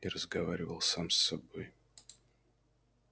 и разговаривал сам с собой